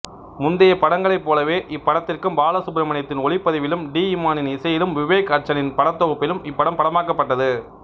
முந்தையப் படங்களைப்போலவே இப்படத்திற்கும் பாலசுப்ரமணியத்தின் ஒளிப்பதிவிலும் டி இமானின் இசையிலும் விவேக் அர்சனின் படத்தொகுப்பிலும் இப்படம் படமாக்கப்பட்டது